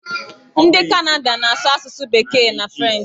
Ndị Kanada na-asụ asụsụ bekee na frenchị.